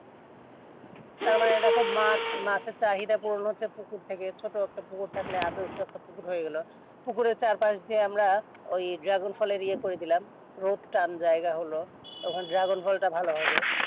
তারমানে দ্যাখো মাছ মাছের চাহিদা কি বলতো পুকুর থেকে ছোট একটা পুকুর থাকলে আদর্শ একটা পুকুর হয়ে গেল পুকুরের চার পাশ তা আমরা ওই dragon ফলের ইয়ে করে দিলাম